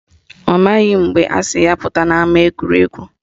Ọ maghị mgbe asị ya pụta n'ama egwuregwu